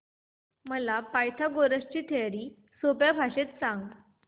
मला पायथागोरस ची थिअरी सोप्या भाषेत सांग